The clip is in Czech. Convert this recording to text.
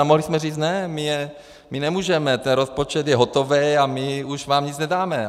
A mohli jsme říct ne, my nemůžeme, ten rozpočet je hotový a my už vám nic nedáme.